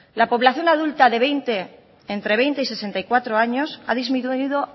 la población adulta de entre veinte y sesenta y cuatro años ha disminuido